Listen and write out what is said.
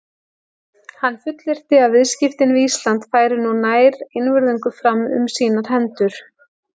Hann fullyrti, að viðskipti við Ísland færu nú nær einvörðungu fram um sínar hendur.